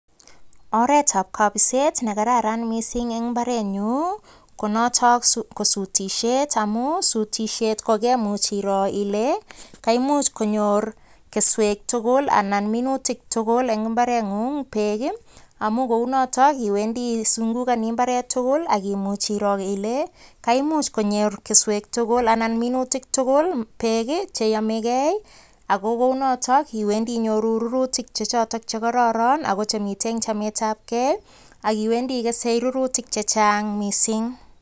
Oretab kabiset ne kararan missing eng mbarenyu, ko notok ko sutisiet amu sutisiet ko kemuch iroo ile, kaimuch konyor keswek tugul anan minutik tugul eng mbareng'ung beek. Amu kounotok iwendi isungukoni imbaret tugul akimuch iroo ile kaimuch konyor keswek tugul anan minutik tugul beek che yamegei. Ago kounotok iwendi inyoru rurutik chechotok che kororon ago chemite eng chametabkei, akiwendi igese rurutik chechang mising.